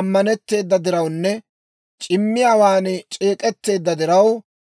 ammanetteeda dirawunne c'immiyaawaan c'eek'etteedda diraw,